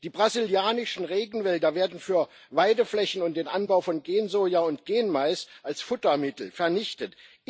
Die brasilianischen Regenwälder werden für Weideflächen und den Anbau von Gensoja und Genmais als Futtermittel vernichtet.